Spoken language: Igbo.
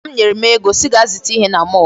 Nna m nyere m ego sị gaa zụta ihe na mall.